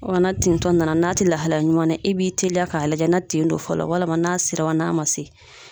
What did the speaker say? Wa na tintɔ nana, n'a tɛ lahalaya ɲuman na, i b'i teliya k'a lajɛ na tin don fɔlɔ walima n'a sera wa n'a ma se.